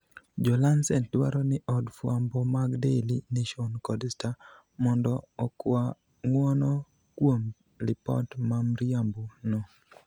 Jo lancet dwaro ni od fwambo mag daily nation kod star mondo okwa ngwono kuom lipot mamriambo no